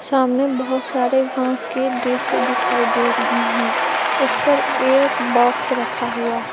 सामने बहुत सारे घास के दृश्य दिखाई दे रहे हैं उस पर एक बॉक्स रखा हुआ है।